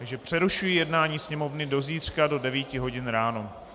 Takže přerušuji jednání Sněmovny do zítřka do 9 hodin ráno.